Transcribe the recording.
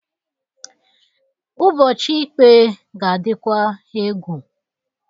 Ụbọchị ịkpaa ga-adikwa egwu.